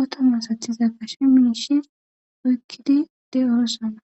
oto masatiza gashe miishi oyqqidi de'osona .